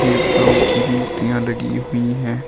देवताओं की मूर्तियां लगी हुई है।